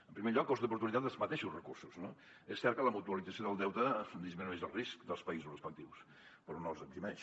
en primer lloc cost d’oportunitat dels mateixos recursos no és cert que la mutualització del deute disminueix el risc dels països respectius però no els eximeix